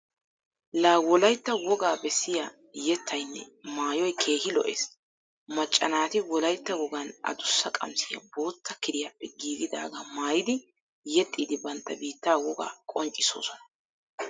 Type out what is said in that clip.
La wolaytta woga bessiya yettaynne maayoy keehi lo'ees. Macca naati wolaytta wogan adussa qamisiya bootta kiriyaappe giigidaaga maayidi yexxiiddi bantta biitta wogaa qonccissoosona